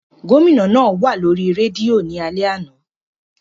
Gomina naa wa lori redio ni alẹ ana.